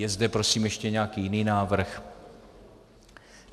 Je zde, prosím, ještě nějaký jiný návrh?